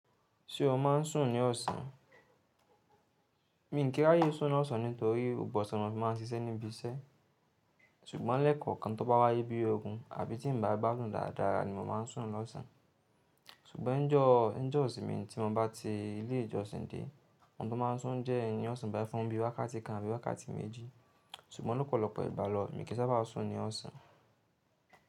Ṣé o máa ń sùn ní ọ̀sán? Mi ò kí n ráyè sùn ní òsán nítorí gbogbo òsán ni mo fi máa ń sisé ní ibi isé ṣùgbọ́n lẹ́kọ̀ọ̀ kan tó bá wáyé bí ogun àbí tí n bá gbádùn dáadáa ni mo ma ń sùn ní ọ̀sán. Ṣùgbọ́n níjọ́, níjọ́ ìsinmi tí mo bá ti ilé ìjọsìn dé, ohun ló máa n sùn jẹ́ ẹni ọ̀sán bá fún bí wákàtí kan àbí wákàtí méjì. Ṣùgbọ́n lọ́pọ̀lọpọ̀ ìgbà lọ, mi ò kí n sábà sùn ní ọ̀sán.